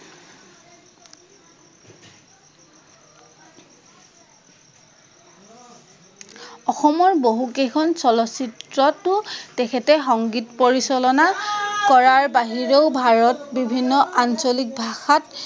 অসমৰ বহু কেইখন চলচ্চিত্ৰতো তেখঁতে সংগীত পৰিচলনা কৰাৰ বহিৰেও ভাৰত বিভিন্ন আঞ্চলিক ভাষাত